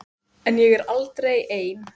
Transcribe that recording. En ég er aldrei ein.